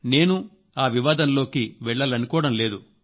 నేను ఆ వివాదంలోకి వెళ్లాలనుకోవడం లేదు